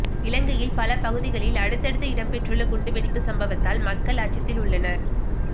இலங்கையில் பல பகுதிகளில் அடுத்து அடுத்து இடம்பெற்றுள்ள குண்டு வெடிப்பு சம்பவத்தால் மக்கள் அச்சத்தில் உள்ளனர்